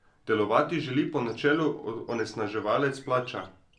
Delovati želi po načelu onesnaževalec plača.